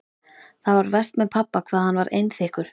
Það var verst með pabba hvað hann var einþykkur.